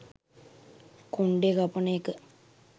කොන්ඩේ කපන එක